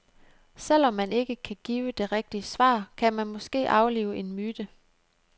Selv om man ikke kan give det rigtige svar, kan man måske aflive en myte.